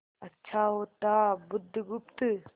अच्छा होता बुधगुप्त